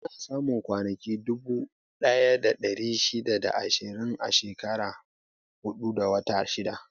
Ana samun kwanaki dubu ɗaya da ɗari shida da ashirin a shekara huɗu da wata shida.